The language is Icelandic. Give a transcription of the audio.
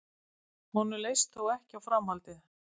Honum leist þó ekki á framhaldið